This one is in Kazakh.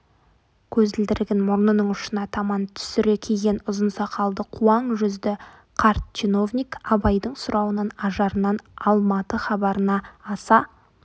көзілдірігін мұрнының ұшына таман түсіре киген ұзын сақалды қуаң жүзді қарт чиновник абайдың сұрауынан ажарынан алматы хабарына аса